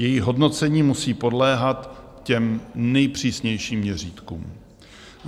Její hodnocení musí podléhat těm nejpřísnějším měřítkům.